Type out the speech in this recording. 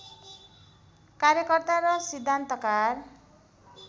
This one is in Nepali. कार्यकर्ता र सिद्धान्तकार